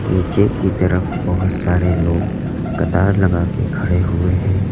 नीचे की तरफ बहोत सारे लोग कतार लगा के खड़े हुए है।